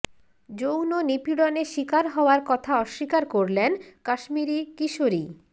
যৌন নিপীড়নে শিকার হওয়ার কথা অস্বীকার করলেন কাশ্মিরি কিশোরী